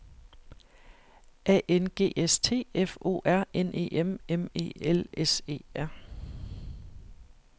A N G S T F O R N E M M E L S E R